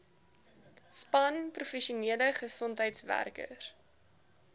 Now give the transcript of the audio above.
span professionele gesondheidswerkers